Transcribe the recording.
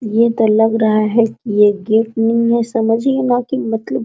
ये तो लग रहा है की ये गेट नहीं है समझिये न की मतलब --